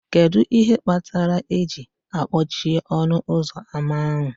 Kedu ihe kpatara eji akpọchie ọnụ ụzọ ámá ahụ